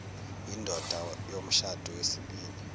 yindoda yomshado wesibili